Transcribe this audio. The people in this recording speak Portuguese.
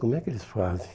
Como é que eles fazem?